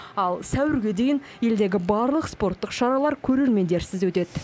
ал сәуірге дейін елдегі барлық спорттық шаралар көрермендерсіз өтеді